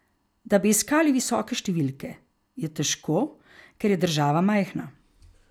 Da bi iskali visoke številke, je težko, ker je država majhna.